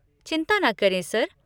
चिंता न करें, सर।